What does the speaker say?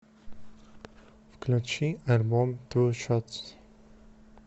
включи альбом ту шотс